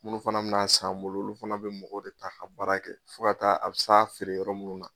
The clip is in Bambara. Munnu fana bi na san an bolo olu fana bi mɔgɔw de ta ka baara kɛ fo ka taa a s'a be feere yɔrɔ munnu na